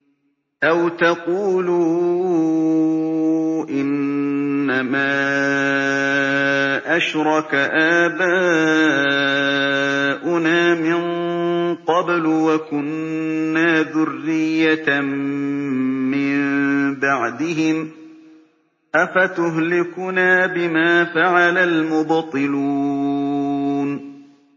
أَوْ تَقُولُوا إِنَّمَا أَشْرَكَ آبَاؤُنَا مِن قَبْلُ وَكُنَّا ذُرِّيَّةً مِّن بَعْدِهِمْ ۖ أَفَتُهْلِكُنَا بِمَا فَعَلَ الْمُبْطِلُونَ